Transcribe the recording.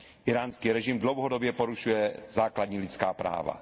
Íránský režim dlouhodobě porušuje základní lidská práva.